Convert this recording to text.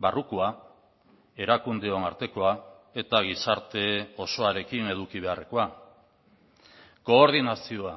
barrukoa erakundeon artekoa eta gizarte osoarekin eduki beharrekoa koordinazioa